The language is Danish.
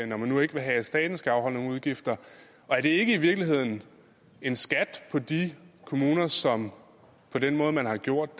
når man nu ikke vil have at staten skal afholde nogen udgifter og er det ikke i virkeligheden en skat på de kommuner som på den måde man har gjort